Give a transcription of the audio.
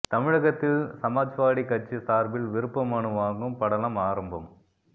தமிழகத்தில் சமாஜ்வாடி கட்சி சார்பில் விருப்ப மனு வாங்கும் படலம் ஆரம்பம்